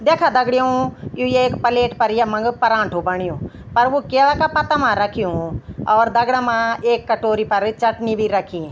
दैखा दगड़ियों यु एक पलेट पर यम्मांग परांठो बण्युं अर वू क्याला का पत्ता मा रख्युं और दगड़ा मा एक कटोरी पर चटनी भी रखीं।